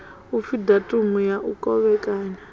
upfi datumu ya u kovhekanya